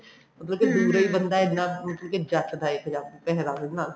ਮਤਲਬ ਕਿ ਦੂਰੋਂ ਬੰਦਾ ਇੰਨਾ ਮਤਲਬ ਕਿ ਜਚਦਾ ਪੰਜਾਬੀ ਪਹਿਰਾਵੇ ਦੇ ਨਾਲ